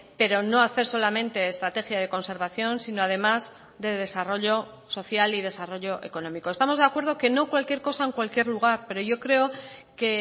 pero no hacer solamente estrategia de conservación sino además de desarrollo social y desarrollo económico estamos de acuerdo que no cualquier cosa en cualquier lugar pero yo creo que